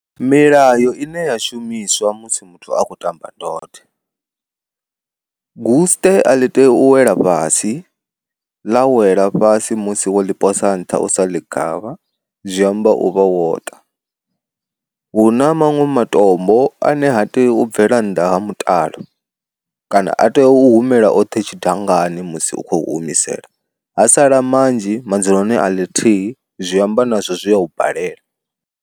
Milayo ine ya shumiswa musi muthu akho ṱamba ndode, gusṱe a ḽi tei u wela fhasi ḽa wela fhasi musi wo ḽi posa nṱha u sa ḽi gavha zwiamba u vha wo ṱa. Huna maṅwe matombo ane ha tei u bvela nnḓa ha mutalo kana a tea u humela oṱhe tshidangani musi u khou humisela ha sala manzhi madzuloni a ḽithihi zwi amba nazwo zwi a u balela.